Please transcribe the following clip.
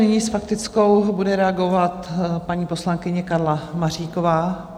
Nyní s faktickou bude reagovat paní poslankyně Karla Maříková.